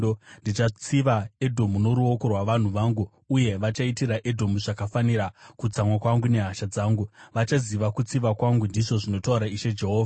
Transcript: Ndichatsiva Edhomu noruoko rwavanhu vangu, uye vachaitira Edhomu zvakafanira kutsamwa kwangu nehasha dzangu; vachaziva kutsiva kwangu, ndizvo zvinotaura Ishe Jehovha.’ ”